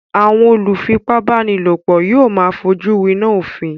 Àwọn olùfipábánilòpọ̀ yóò máa fojú winá òfin.